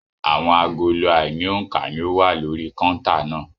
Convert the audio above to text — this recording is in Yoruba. Àwọn agolo àìní òǹkà ni ó wà lórí kọ́ńtà náà.